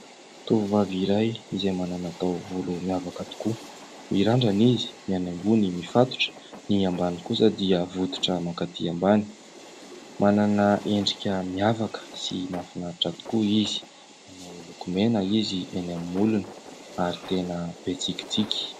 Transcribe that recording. Tovovavy iray izay manana taovolo miavaka tokoa. Mirandrana izy, ny eny ambony mifatotra, ny ambany kosa dia votitra mankaty ambany. Manana endrika miavaka sy mahafinaritra tokoa izy. Manao lokomena izy eny amin'ny molony ary tena be tsikitsiky.